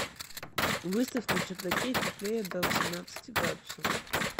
выставь на чердаке теплее до восемнадцати градусов